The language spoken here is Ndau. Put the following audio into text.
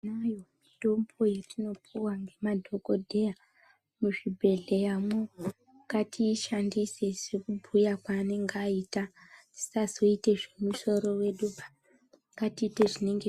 Dai mitombo yatinopuwa nemadhogodheya muzvibhedleya imomo, ngatiyishandise sekubhuya kwaanenge aita tisazoite zvemusoro wedu ,ngatiiteyi zvatinenge